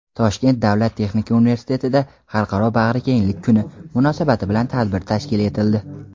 Toshkent davlat texnika universitetida "Xalqaro bag‘rikenglik kuni" munosabati bilan tadbir tashkil etildi.